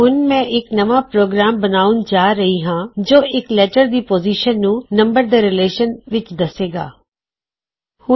ਹੁਣ ਮੈਂ ਇੱਕ ਨਵਾਂ ਪ੍ਰੋਗਰਾਮ ਬਣਾੳਣ ਜਾ ਰਿਹਾ ਹਾਂ ਜੋ ਇਕਲੈਟਰ ਦੀ ਪੋਜ਼ਿਸ਼ਨ ਨੂੰ ਨੰਬਰ ਦੇ ਰਿਲੇਸ਼ਨ ਵਿੱਚ ਦੱਸੇ ਗਾ